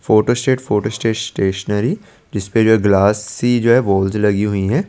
Photo state photo स्टे stationery जिसपे जो ग्लास सी जो है लगी हुई है।